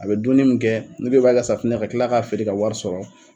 A bɛ dumuni min kɛ n'i ko i b'a kɛ safinɛ ye ka kila k'a feere k'a wari sɔrɔ